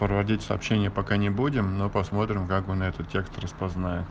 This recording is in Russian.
проводить сообщение пока не будем но посмотрим как он этот текст распознает